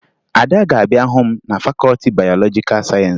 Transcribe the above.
Ada ga-abịa hụ m na fakọọti bayọlọjikaa sayensị